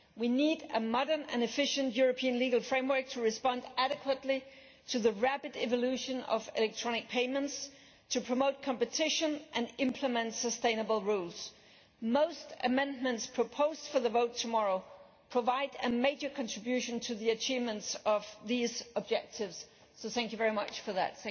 We need a modern and efficient European legal framework to respond properly to the rapid evolution in electronic payments, to promote competition and implement sustainable rules. Most of the amendments tabled for the vote tomorrow provide a major contribution to the achievement of these objectives, so thank you very much for that.